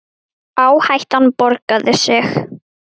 Verkið entist í þrjú sumur.